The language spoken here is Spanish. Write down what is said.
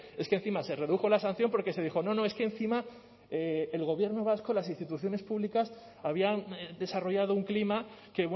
es que encima se redujo la sanción porque se dijo no no es que encima el gobierno vasco las instituciones públicas habían desarrollado un clima que